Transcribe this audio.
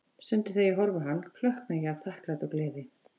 Stundum þegar ég horfi á hann, klökkna ég af þakklæti og gleði.